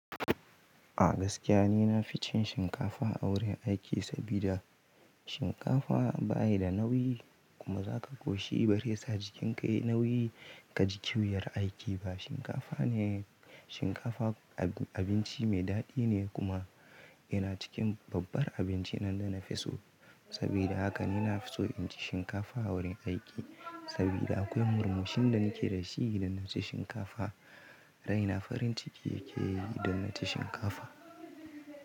A gaskiya ni nafi cin shinkafa a wurin aiki, sabida shinkafa bayi da nauyi kuma zaka ƙoshi bazai sa jikinka yayi nauyi kaji ƙiwar aiki ba. Shinkafa ne, shinkafa abinci mai daɗi ne kuma yana cikin babbar abinci nan da nafi so. Sabida haka ni nafi so inci shinkafa a wurin aiki, sabida akwai murmushin da nake da shi idan naci shinkafa. Raina farin ciki yake yi idan naci shinkafa.